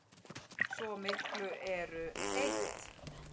Svo miklu eru eytt.